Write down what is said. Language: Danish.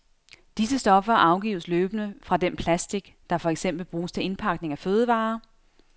Disse stoffer afgives løbende fra den plastic, der for eksempel bruges til indpakning af fødevarer.